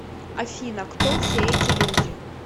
афина кто все эти люди